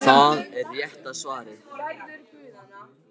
Það er rétta svarið.